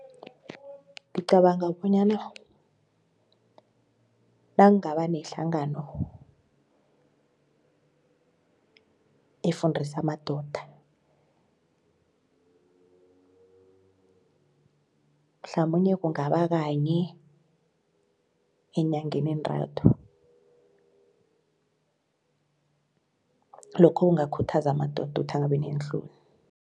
Ngicabanga bonyana nangaba nehlangano efundisa amadoda mhlamunye kungaba kanye eenyangeni entathu lokho kungakhuthaza amadoda ukuthi angabi neenhloni.